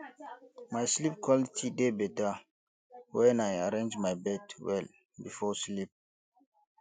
my sleep quality dey better when i arrange my bed well before sleep